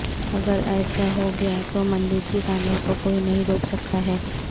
اگر ایسا ہو گیا تو مندر کی تعمیر کو کوئی نہیں روک سکتا ہے